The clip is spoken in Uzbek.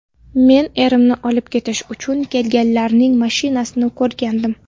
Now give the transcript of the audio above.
Men erimni olib ketish uchun kelganlarning mashinasini ko‘rgandim.